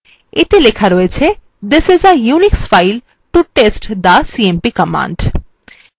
এতে লেখা রয়েছে this is a unix file to test the cmp command